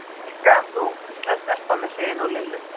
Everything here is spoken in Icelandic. Sæl, ég er kölluð Rikka, en þú? hvíslaði stelpan við hliðina á Lillu.